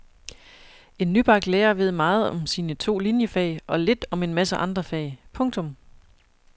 En nybagt lærer ved meget om sine to liniefag og lidt om en masse andre fag. punktum